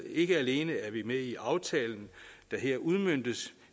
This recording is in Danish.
ikke alene er vi med i aftalen der her udmøntes